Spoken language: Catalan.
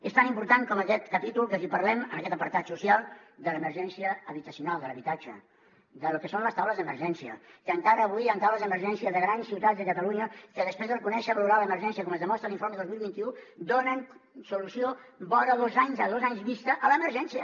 és tan important com aquest capítol que si parlem en aquest apartat social de l’emergència habitacional de l’habitatge de lo que són les taules d’emergència que encara avui hi han taules d’emergència de grans ciutats de catalunya que després de reconèixer valorar l’emergència com es demostra a l’informe dos mil vint u donen solució vora dos anys a dos anys vista a l’emergència